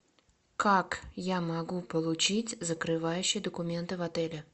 как я могу получить закрывающие документы в отеле